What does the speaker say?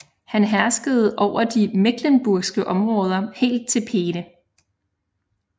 Han herskede over de mecklenburgske områder helt til Peene